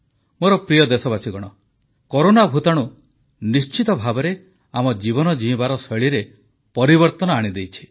ମୋର ପ୍ରିୟ ଦେଶବାସୀଗଣ କରୋନା ଭୂତାଣୁ ନିଶ୍ଚିତ ଭାବେ ଆମ ଜୀବନ ଜୀଇଁବାର ଶୈଳୀରେ ପରିବର୍ତ୍ତନ ଆଣିଦେଇଛି